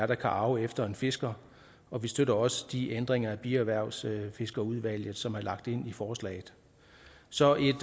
der kan arve efter en fisker og vi støtter også de ændringer af bierhvervsfiskerudvalget som er lagt ind i forslaget så et